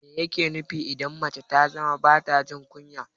Mai yake nufi idan mace ta zama bata jin kunya?